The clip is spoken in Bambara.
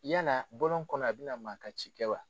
Yala bɔlɔn kɔnɔ a bɛ na na maa ka ci kɛ wa?